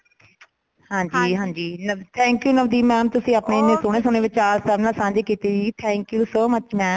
ਹਾਂਜੀ ਹਾਂਜੀ thank you Navdeep mam ਤੁਸੀਂ ਆਪਣੇ ਸੋਨੇ ਸੋਨੇ ਵਿਚਾਰ ਸਾਡੇ ਨਾਲ ਸੰਜੇ ਕੀਤੇ ਜੀ thank you so much mam